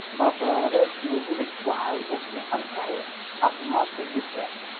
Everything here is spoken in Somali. Maraq khudradeed iyo hilib waxay u fiican tahay caafimaadka jidhka.